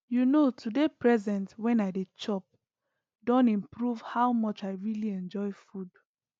you know to dey present when i dey chop don improve how much i really enjoy food